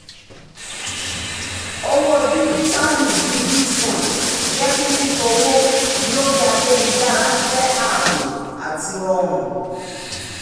owó díjítàlù bíi bitcoin jẹ́ kí fífowó lórí ayélujára jẹ́ ààbò àti rọrùn